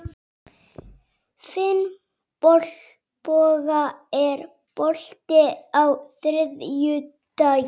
Finnboga, er bolti á þriðjudaginn?